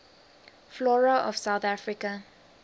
flora of south africa